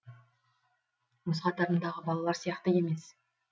өз қатарындағы балалар сияқты емес